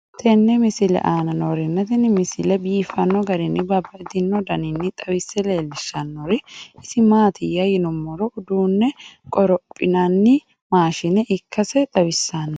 tenne misile aana noorina tini misile biiffanno garinni babaxxinno daniinni xawisse leelishanori isi maati yinummoro uduunne gophinanni maashshinne ikkasse xawissanno.